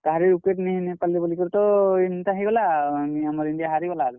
କହାରିର୍ wicket ନି ନେଇ ପାର୍ ଲେ ବଲିକରି ତ ଏନ୍ତା ହେଇଗଲା ,ଆମର୍ India ହାରିଗଲା ଆରୁ।